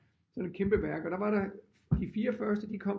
Sådan nogle kæmpe værker og der var der de fire første de kom